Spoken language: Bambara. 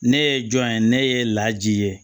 Ne ye jɔn ye ne ye laji ye